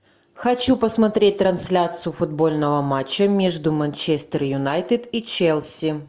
хочу посмотреть трансляцию футбольного матча между манчестер юнайтед и челси